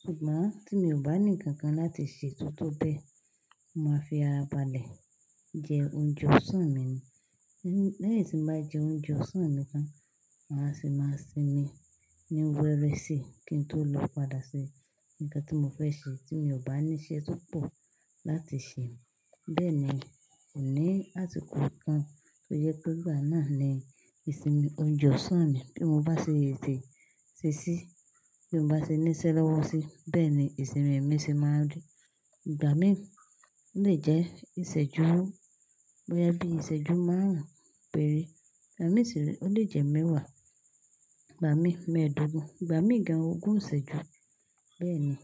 Ṣùgbọ́n tí mi ò bá ní nǹkan kan láti ṣe tó tó bẹ́ẹ̀, mo máa fi ara balẹ̀ jẹ oúnjẹ ọ̀sán mi ni. Lẹ́yìn tí mo bá jẹ oúnjẹ ọ̀sán mi tán, màa á sì máa sinmi ní wẹrẹ síi kí n tó lọ padà ṣe nǹkan tí mo fẹ́ ṣe tí mi ò bá ní iṣẹ́ tó pọ̀ láti ṣe. Bẹ́ẹ̀ ni, kò ní àsìkò kan tó jẹ pé ìgbà náà ni ìsinmi oúnjẹ ọ̀sán mi bí mo bá ṣe sísí. Bí mo bá ṣe ní iṣẹ́ lọ́wọ́ sí, bẹ́ẹ̀ ni ìsinmi mi ṣe máa rí. Ìgbà míì, ó lè jẹ ìṣẹ́jú, bóyá bí ìṣẹ́jú márùn-ún péré. Ìgbà míì sì re, ó lè jẹ mẹ́wàá, ìgbà míì mẹ́ẹ̀ẹ́dógún, ìgbà míì gan-an ogún ìṣẹ́jú. Bẹ́ẹ̀ ni.